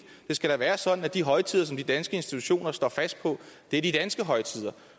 det skal da være sådan at de højtider som de danske institutioner står fast på er de danske højtider